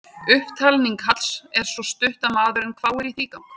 Upptalning Halls er svo stutt að maðurinn hváir í þrígang.